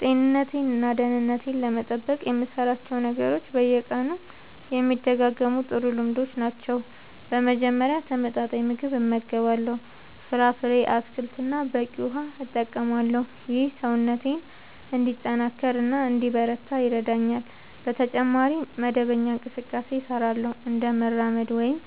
ጤንነቴን እና ደህንነቴን ለመጠበቅ የምሠራቸው ነገሮች በየቀኑ የሚደጋገሙ ጥሩ ልምዶች ናቸው። በመጀመሪያ ተመጣጣኝ ምግብ እመገባለሁ፣ ፍራፍሬ፣ አትክልት እና በቂ ውሃ እጠቀማለሁ። ይህ ሰውነቴን እንዲጠናከር እና እንዲበረታ ይረዳኛል። በተጨማሪ መደበኛ እንቅስቃሴ እሠራለሁ፣ እንደ መራመድ ወይም